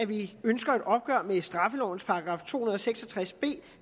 vi ønsker et opgør med straffelovens § to hundrede og seks og tres b